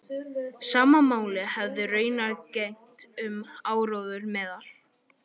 Sama máli hefði raunar gegnt um áróður meðal